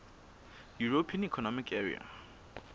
european economic area